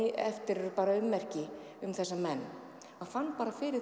eftir eru bara ummerki um þessa menn maður fann bara fyrir